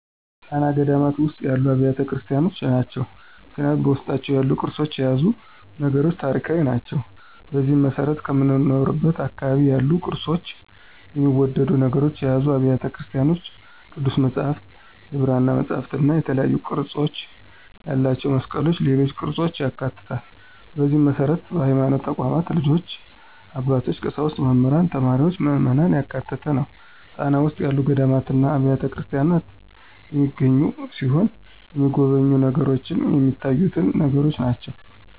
ጣና ገዳማት ውስጥ ያሉ አብያተ ክርስቲያኖች ናቸው። ምክንያቱም በውስጣቸው ያሉት ቅርሶችና የያዙት ነገሮች ታሪካዊ ናቸው። በዚህም መሰረት ከምኖርበት አካባቢ ያሉ ቅርፆችና የሚወደዱ ነገሮችን የያዙ አብያተ ቤተክርስቲያኖች ቅዱስ መፅሐፍት፣ የብራና መፅሐፍትእና የተለያዩ ቅርፅ ያላቸው መስቀሎችና ሌሎች ቅርፆችን ያካትታል፣ በዚህ መሰረት በሀይማኖት ተቋማት ልጆች፣ አባቶች፣ ቀሳውስት፣ መምህራን፣ ተማሪዎችና ምዕመናን ያካተተ ነው። ጣና ውስጥ ያሉ ገዳማትና አብያተክርስቲያናት የሚገኙ ሲሆን የተሚጎበኙ ነገሮችንም ሚታዩትን ነገሮች ናቸው።